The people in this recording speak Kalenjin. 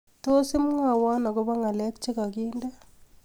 Tos imwawon agoba ngalek chegandene